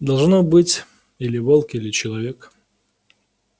должно быть или волк или человек